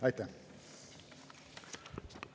Aitäh!